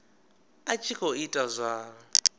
a tshi khou ita zwa